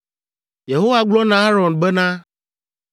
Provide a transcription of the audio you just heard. Yehowa gblɔ na Aron bena,